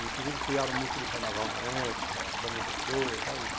Inclusive criaram música de carnaval na época, da minha pessoa, sabe?